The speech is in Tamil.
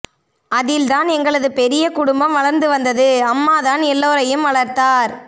அதில்தான் எங்களது பெரிய குடும்பம் வளர்ந்து வந்தது அம்மாதான் எல்லோரையும் வளர்த்தார்